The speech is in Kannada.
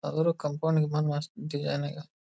ಅದ್ರ ಕಂಪೌಂಡ್ ಗಿಂಪೌಂಡ್ ಮಸ್ತ್ .]